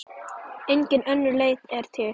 Engin önnur leið er til.